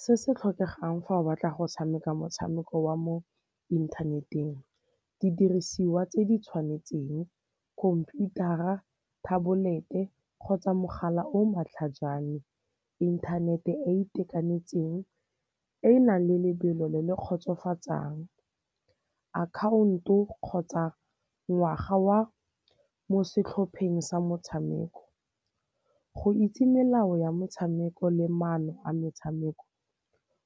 Se se tlhokegang fa o batla go tshameka motshameko wa mo inthaneteng, didirisiwa tse di tshwanetseng, khomputara, thabolete kgotsa mogala o matlhajana, inthanete e e itekanetseng e e nang le lebelo le le kgotsofatsang, akhaonto kgotsa ngwaga wa mo setlhopheng sa motshameko. Go itse melao ya metshameko le maano a metshameko